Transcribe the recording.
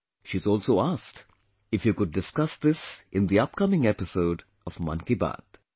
She's also asked if you could discuss this in the upcoming episode of 'Mann Ki Baat'